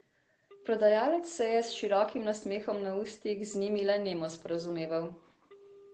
Prodajalec se je s širokim nasmehom na ustih z njimi le nemo sporazumeval.